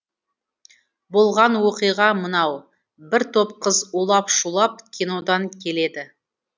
болған оқиға мынау бір топ қыз улап шулап кинодан келеді